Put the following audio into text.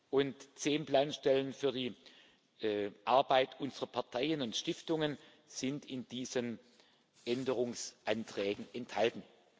und zehn Planstellen für die Arbeit unserer Parteien und Stiftungen sind in diesen Änderungsanträgen enthalten.